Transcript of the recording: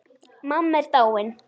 Mamma er dáin.